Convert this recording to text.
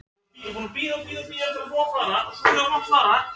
Þetta var ungur maður, dökkur á hörund með svolítið yfirvaraskegg.